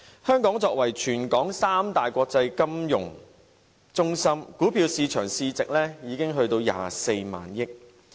香港作為全球三大國際金融中心之一，股票市場市值已達到24萬億元。